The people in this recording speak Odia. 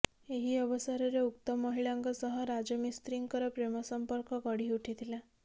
ଏହି ଅବସରରେ ଉକ୍ତ ମହିଳାଙ୍କ ସହ ରାଜମିସ୍ତ୍ରୀଙ୍କର ପ୍ରେମ ସମ୍ପର୍କ ଗଢ଼ି ଉଠିଥିଲା